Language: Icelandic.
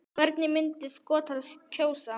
Hvernig myndu Skotar kjósa?